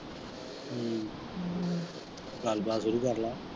ਹਮ ਹਮ ਗਲਬਾਤ ਸ਼ੁਰੂ ਕਰਲਾ।